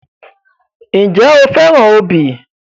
Ǹjẹ́ o fẹ́ràn obì?